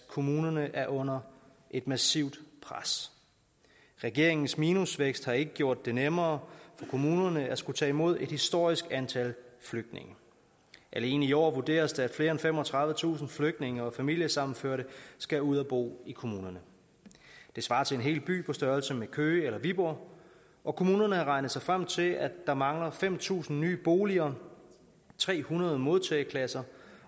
kommunerne er under et massivt pres regeringens minusvækst har ikke gjort det nemmere for kommunerne at skulle tage imod et historisk antal flygtninge alene i år vurderes det at mere end femogtredivetusind flygtninge og familiesammenførte skal ud og bo i kommunerne det svarer til en helt by på størrelse med køge eller viborg og kommunerne har regnet sig frem til at der mangler fem tusind nye boliger tre hundrede modtageklasser